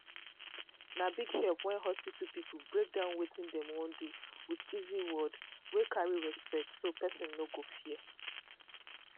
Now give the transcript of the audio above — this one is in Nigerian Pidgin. na big help when hospital people break down wetin dem wan do with easy word wey carry respect so person no go fear.